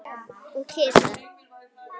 Og kisa.